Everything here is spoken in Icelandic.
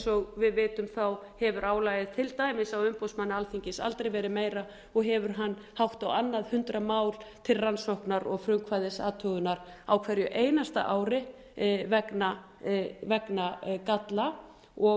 og við vitum hefur álagið til dæmis á umboðsmanni alþingis aldrei verið meira og hefur hann hátt á annað hundrað mál til rannsóknar og frumkvæðisathugunar á hverju einasta ári vegna galla